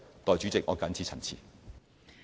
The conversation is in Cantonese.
代理主席，我謹此陳辭。